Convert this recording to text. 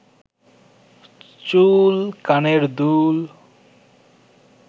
চুল, কানের দুল